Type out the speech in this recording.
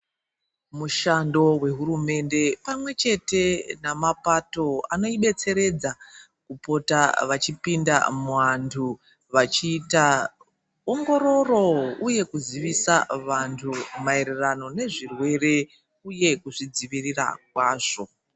Mushando wehurumende pamwechete nemapato anoidetseredza kupota vachipinda muvantu vachiita ongororo uye kuzivisa vantu nezvirwere uye kuzvidzivirirwa kwazvo.